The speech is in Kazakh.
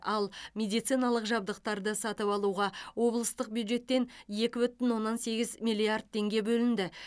ал медициналық жабдықтарды сатып алуға облыстық бюджеттен екі бүтін оннан сегіз миллиард теңге бөлінді